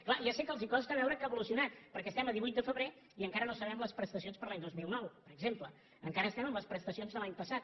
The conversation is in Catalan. clar ja sé que els costa veure que ha evolucionat perquè estem a divuit de febrer i encara no sabem les prestacions per a l’any dos mil nou per exemple encara estem amb les prestacions de l’any passat